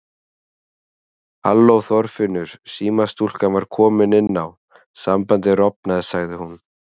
Halló Þorfinnur símastúlkan var komin inn á, sambandið rofnaði sagði hún.